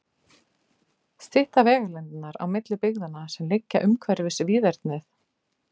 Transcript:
Stytta vegalengdirnar á milli byggðanna, sem liggja umhverfis víðernið?